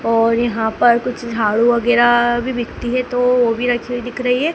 और यहां पर कुछ झाड़ू वगैरह भी बिकती है तो वो भी रखी हुई दिख रही है।